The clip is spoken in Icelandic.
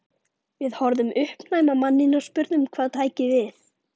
Við horfðum uppnæm á manninn og spurðum hvað tæki við.